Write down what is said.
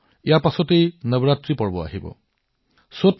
ইয়াৰ পিছত সোনকালেই চৈত্ৰ নৱৰাত্ৰিৰ শুভ অনুষ্ঠানো আৰম্ভ হব